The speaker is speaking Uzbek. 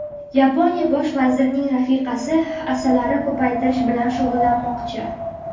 Yaponiya bosh vazirining rafiqasi asalari ko‘paytirish bilan shug‘ullanmoqchi.